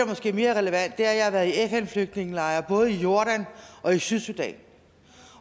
måske er mere relevant er at jeg har været i fn flygtningelejre både i jordan og i sydsudan